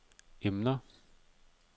emner